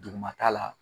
Dugumata la